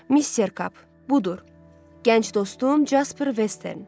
Mister Kap, budur, gənc dostum Casper Western.